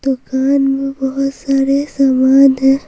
दुकान में बहुत सारे सामान है ।